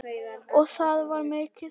Og það var mikið sungið.